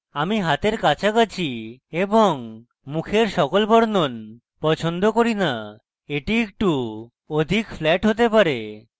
আমি হাতের কাছাকাছি এবং মুখের সকল বর্ণন পছন্দ করি না এটি একটু অধিক flat হতে পারে